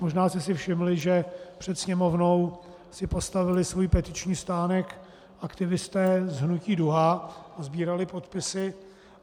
Možná jste si všimli, že před Sněmovnou si postavili svůj petiční stánek aktivisté z hnutí Duha a sbírali podpisy.